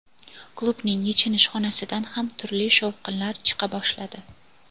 klubning yechinish xonasidan ham turli "shovqinlar" chiqa boshladi.